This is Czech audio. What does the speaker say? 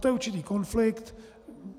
To je určitý konflikt.